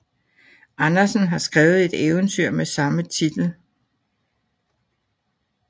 Andersen har skrevet et eventyr med samme titel